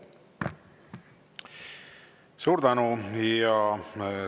Suur tänu!